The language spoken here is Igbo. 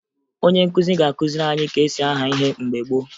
Onye nkụzi ga-akụziri anyị ka e si aha ihe mgbe gboo